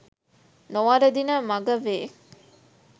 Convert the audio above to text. නොවරදින මග වේ